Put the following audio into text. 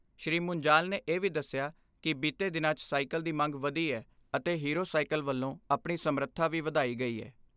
ਸ੍ਰੀ ਮੁੰਜਾਲ ਨੇ ਇਹ ਵੀ ਦਸਿਆ ਕਿ ਬੀਤੇ ਦਿਨਾਂ 'ਚ ਸਾਈਕਲ ਦੀ ਮੰਗ ਵਧੀ ਐ ਅਤੇ ਹੀਰੋ ਸਾਈਕਲ ਵੱਲੋਂ ਆਪਣੀ ਸਮਰੱਥਾ ਵੀ ਵਧਾਈ ਗਈ ਐ।